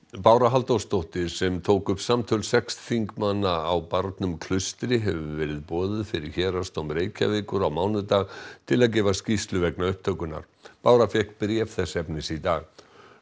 Bára Halldórsdóttir sem tók upp samtöl sex þingmanna á barnum Klaustri hefur verið boðuð fyrir Héraðsdóm Reykjavíkur á mánudag til að gefa skýrslu vegna upptökunnar bára fékk bréf þess efnis í dag